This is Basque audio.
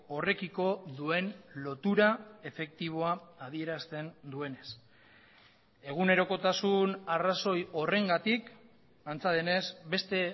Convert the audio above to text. horrekiko duen lotura efektiboa adierazten duenez egunerokotasun arrazoi horrengatik antza denez beste